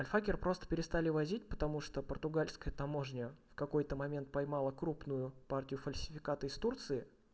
а хакер просто перестали возить потому что португальская таможня в какой-то момент поймала крупную партию фальсификата из турции